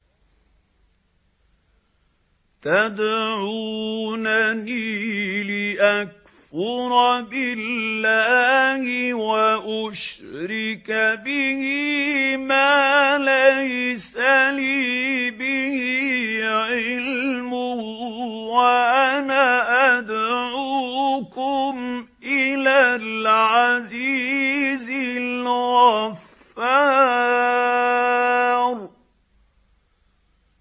تَدْعُونَنِي لِأَكْفُرَ بِاللَّهِ وَأُشْرِكَ بِهِ مَا لَيْسَ لِي بِهِ عِلْمٌ وَأَنَا أَدْعُوكُمْ إِلَى الْعَزِيزِ الْغَفَّارِ